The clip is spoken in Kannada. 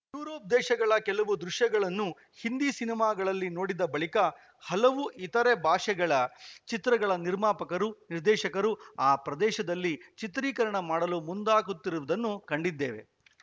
ಯೂರೋಪ್‌ ದೇಶಗಳ ಕೆಲವು ದೃಶ್ಯಗಳನ್ನು ಹಿಂದಿ ಸಿನಿಮಾಗಳಲ್ಲಿ ನೋಡಿದ ಬಳಿಕ ಹಲವು ಇತರೆ ಭಾಷೆಗಳ ಚಿತ್ರಗಳ ನಿರ್ಮಾಪಕರು ನಿರ್ದೇಶಕರು ಆ ಪ್ರದೇಶದಲ್ಲಿ ಚಿತ್ರೀಕರಣ ಮಾಡಲು ಮುಂದಾಗುತ್ತಿರುವುದನ್ನು ಕಂಡಿದ್ದೇವೆ